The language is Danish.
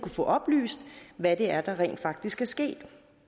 få oplyst hvad det er der rent faktisk skal ske